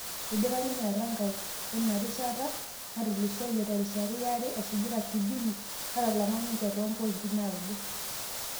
Eidpa ninye Erankau end rishata natulusoyie terishata iare esujita kibni, natalama ninje too pointi naudo